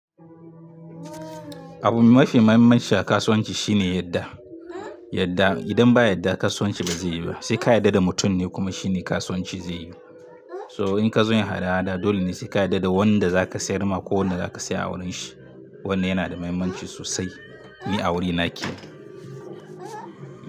Abu mafi mahimmanci a kasuwanci shine yadda. Yadda idan ba yadda kasuwanci ba zai yi ba. Sai ka yadda da mutum ne kuma shine kasuwanci zai yi. So in ka zo yin hada-hada dole ne sai ka yarda da wanda zaka sayar ma ko wanda zaka saya a wurin shi. Wannan yana da mahimmanci sosai. Ni a wurina yake.